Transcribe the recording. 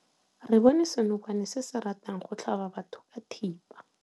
Re bone senokwane se se ratang go tlhaba batho ka thipa.